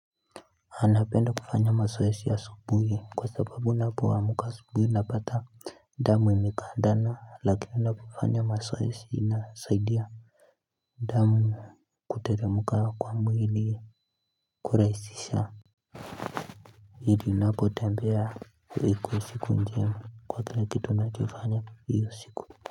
Anapenda kufanya mazoezi asubuhi kwa sababu ninapoamka asubuhi napata damu imekagandana lakini unapofanya mazoezi inasaidia damu kuteremka kwa mwili kurahisisha ili unapotembea ikue siku njema kwa kila kitu unachofanya hiyo siku.